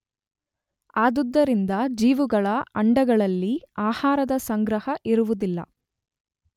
ಆದುದರಿಂದ ಜಿವುಗಳ ಅಂಡಗಳಲ್ಲಿ ಆಹಾರದ ಸಂಗ್ರಹ ಇರುವುದಿಲ್ಲ.